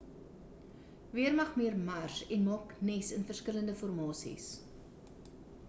weermagmier' mars en maak nes in verskillende formasies